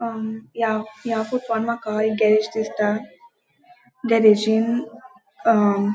अ या या फोटवान माका एक गेरेज दिसता गेरेजिन अ --